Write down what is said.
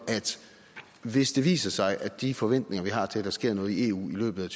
at hvis det viser sig at de forventninger vi har til at der sker noget i eu i løbet af